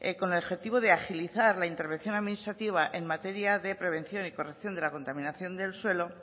con el objetivo de agilizar la intervención administrativa en materia de prevención y corrección de la contaminación del suelo